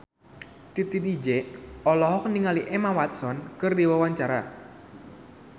Titi DJ olohok ningali Emma Watson keur diwawancara